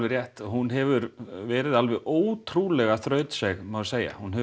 rétt að hún hefur verið alveg ótrúlega þrautseig má segja hún hefur